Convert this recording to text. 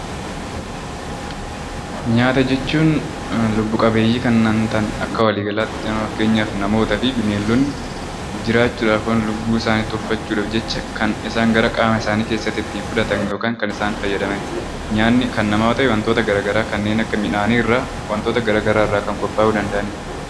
Nyaata jechuun lubbu-qabeeyyii kanneen ta'an akka walii galaatti fakkeenyaaf namaa fi bineeldonni jiraachuudhaaf yookaan lubbuu isaanii tursiifachuudhaaf kan isaan qaama isaanii keessatti kan isaan ofitti fudhatan yookaan kan isaan fudhatanidha. Nyaanni kan namaa yoo ta'u, wantoota garaagaraa kanneen akka midhaanii wantoot garaagaraa irraa kan qophaa'uu danda'anidha.